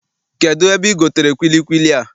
Kedụ ebe I gotere kwilikwili a?